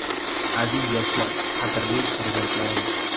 Aziz yoshlar, qadrli farzandlarim!